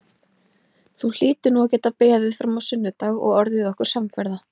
Þú hlýtur nú að geta beðið fram á sunnudag og orðið okkur samferða